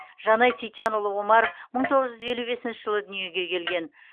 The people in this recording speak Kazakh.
жанай сейітжанұлы омаров мың тоғыз жүз елу бесінші жылы дүниеге келген